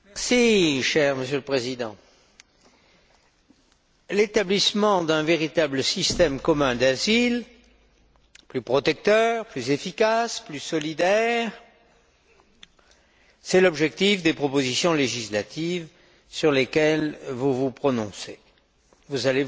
Monsieur le Président, l'établissement d'un véritable système commun d'asile, plus protecteur, plus efficace, plus solidaire, tel est l'objectif des propositions législatives sur lesquelles vous allez vous prononcer.